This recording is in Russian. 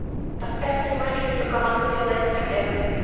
поставь мне матч между командами лестер эвертон